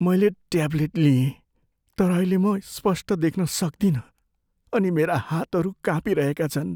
मैले ट्याब्लेट लिएँ तर अहिले म स्पष्ट देख्न सक्दिनँ अनि मेरा हातहरू काँपिरहेका छन्।